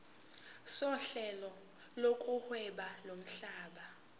sohlelo lokuhweba lomhlaba